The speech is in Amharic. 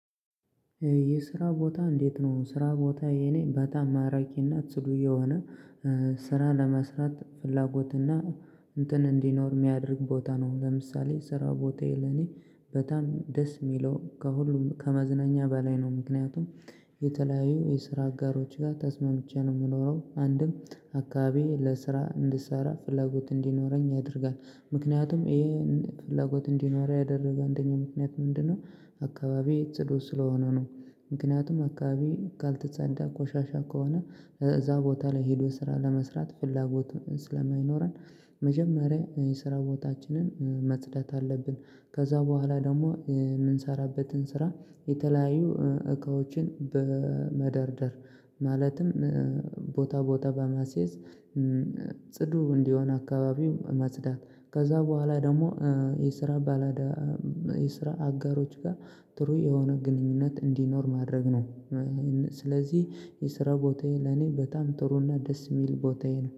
የስራ ቦታ እንዴት ነው ስራ ቦታ የኔ በጣም ማራኪ እና ጽዱ የሆነ ስራ ለመስራት ፍላጎትና እንትን እንዲኖር የሚያደርግ ቦታ ነው ለምሳሌ ስራ ቦታዬ ለኔ በጣም ደስ የሚለው ከሁሉም ከመዝናኛ በላይ ነው ምክንያቱም የተለያዩ የስራ አጋሮች ጋር ተስማምቼ ነው የምኖረው አንድም አካባቢ ለስራ እንድሰራ ፍላጎት እንዲኖረኝ ያደርጋል ምክንያቱም ይሄ ፍላጎት እንዲኖር ያደረገ አንደኛው ምክንያት ምንድነው አካባቢ ጽዱ ስለሆነ ነው ምክንያቱም አካባቢ ካልተጸዳ ቆሻሻ ከሆነ እዛ ቦታ ላይ ሄዶ ስራ ለመስራት ፍላጎት ስለማይኖረን መጀመሪያ የስራ ቦታችንን መጽዳት አለብን ከዛ በኋላ ደግሞ የምንሰራበትን ስራ የተለያዩ እካዎችን በመደርደር ማለትም ቦታ ቦታ በማስየዝ ጽዱ እንዲሆን አካባቢው ማጽዳት ከዛ በኋላ ደግሞ የስራ ባላዳ የስራ አጋሮች ጋር ጥሩ የሆነ ግንኙነት እንዲኖር ማድረግ ነው። ስለዚህ የስራ ቦታዬ ለኔ በጣም ጥሩና ደስ የሚል ቦታዬ ነው።